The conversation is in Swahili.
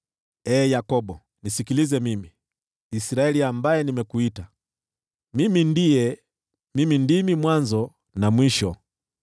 “Ee Yakobo, nisikilize mimi, Israeli, ambaye nimekuita: Mimi ndiye; mimi ndimi mwanzo na mwisho.